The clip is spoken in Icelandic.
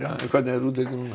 en hvernig er útlitið núna